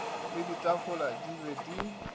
le ditafola di be di